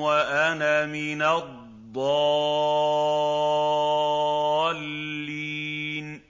وَأَنَا مِنَ الضَّالِّينَ